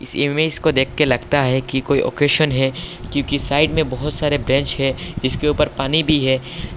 Image को देखके लगता है कि कोई ओकेजन है क्योंकि साइड में बहुत सारे बेंच है इसके ऊपर पानी भी है।